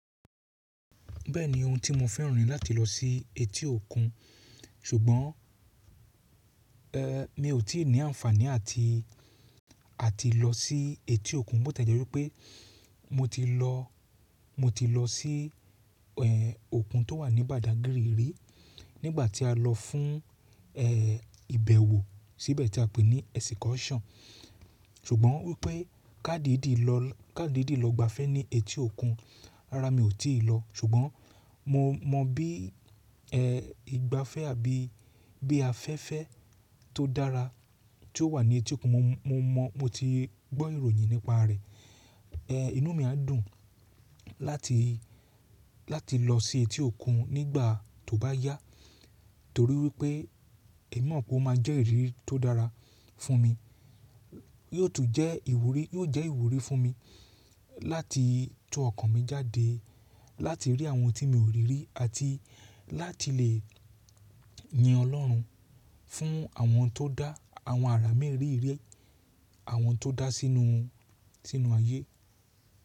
Bẹ́ẹ̀ni ohun tí mo fẹ́ràn rí láti lọ sí etí òkun, ṣùgbọ́n mi ò tí ì ní àǹfàní àti, àti lọ sí etí òkun. Bo tẹ̀jẹ́ wípé mo ti lọ, mo ti lọ sí òkun tó wà ní Badagírì rí nígbà tí a lọ fún ìbẹ̀wò síbẹ̀ tí a pè ní excursion. Ṣùgbọ́n wípé ká dìdí lọ, ká dìdí lọ gbafẹ́ ní etí òkun, rárá mi ò tí ì lọ. Ṣùgbọ́n mo mọ bí ẹ ìgbafẹ́ àbí bí afẹ́fẹ́ tó dára tí ó wà ní etí òkun. Mo, mo mọ, mo ti gbọ́ ìròyìn nípa rẹ̀. Ehn inú mi á dùn láti, láti lọ sí etí òkun nígbà tó bá yá, torí wípé èmi mọ̀ pé ó máa jẹ́ ìrírí tó dára fún mi. Yóò tún jẹ́ ìwúrí, yóò jẹ́ ìwúrí fún mi láti tún ọkàn mi jáde láti rí àwọn ohun tí mi ò rí rí àti láti lè yin Ọlọ́run fún àwọn tó dá, àwọn àrà mériri, àwọn tó dá sínú, sínú ayé.